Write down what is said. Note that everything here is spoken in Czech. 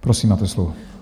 Prosím, máte slovo.